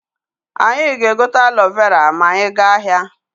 Anyị ga-egote alo vera ma anyị gaa ahịa.